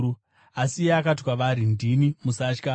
Asi iye akati kwavari, “Ndini; musatya.”